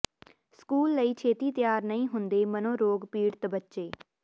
school ਲਈ ਛੇਤੀ ਤਿਆਰ ਨਹੀਂ ਹੁੰਦੇ ਮਨੋਰੋਗ ਪੀੜਤ ਬੱਚੇ